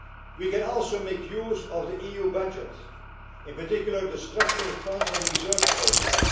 We can also make use of the EU budget, in particular, the structural funds and the research programmes.